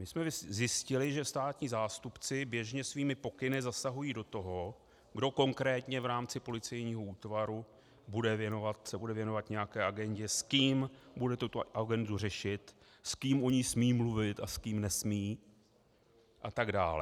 My jsme zjistili, že státní zástupci běžně svými pokyny zasahují do toho, kdo konkrétně v rámci policejního útvaru se bude věnovat nějaké agendě, s kým bude tuto agendu řešit, s kým o ní smí mluvit a s kým nesmí a tak dále.